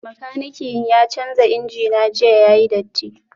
Makanikin ya canza injina jiya yayi datti